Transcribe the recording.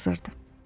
Nahar hazırdır.